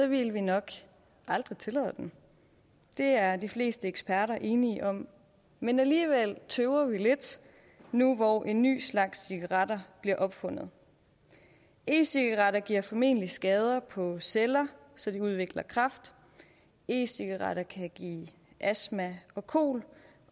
ville vi nok aldrig tillade dem det er de fleste eksperter enige om men alligevel tøver vi lidt nu hvor en ny slags cigaretter bliver opfundet e cigaretter giver formentlig skader på celler så de udvikler kræft e cigaretter kan give astma og kol